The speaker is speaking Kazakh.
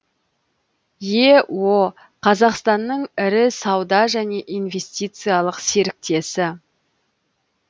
ео қазақстанның ірі сауда және инвестициялық серіктесі